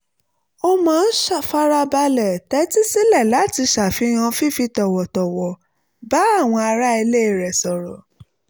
ó máa ń farabalẹ̀ tẹ́tí sílẹ̀ láti ṣàfihàn fífi tọ̀wọ̀tọ̀wọ̀ bá àwọn ará ilé rẹ̀ sọ̀rọ̀